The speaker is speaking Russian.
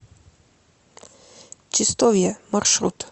чистовье маршрут